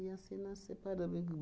E, assim, nós separamos. E